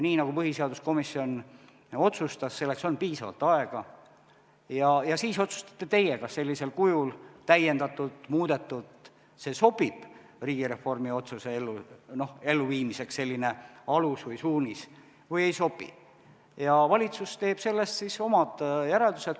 Nii nagu põhiseaduskomisjon otsustas, on piisavalt aega ja siis otsustate teie, kas sellisel kujul, täiendatult või muudetult sobib riigireformi otsuse elluviimiseks selline alus või suunis või ei sobi, ja valitsus teeb sellest omad järeldused.